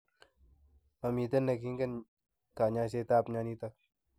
Momiten en ingine kanyaiset ab myonitok